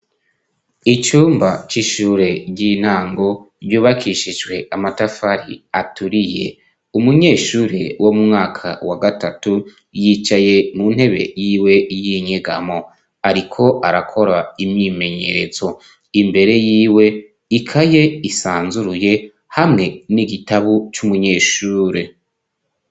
Icumba c'ishure ry'intango ryubakishijwe amatafari aturiye umunyeshure wo mu mwaka wa gatatu yicaye mu ntebe yiwe y'inyegamo ariko arakora imyimenyerezo imbere yiwe ikaye isanzuruye hamwe n'igitabu c'umunyeshure.